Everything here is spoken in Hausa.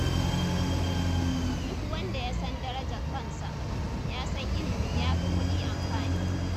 Duk wanda ya san darajar kansa, ya san ilimi ya fi kuɗi amfani.